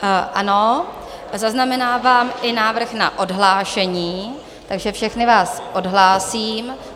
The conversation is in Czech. Ano, zaznamenávám i návrh na odhlášení, takže všechny vás odhlásím.